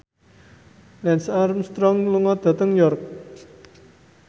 Lance Armstrong lunga dhateng York